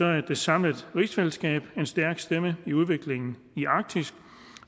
er det samlede rigsfællesskab en stærk stemme i udviklingen i arktis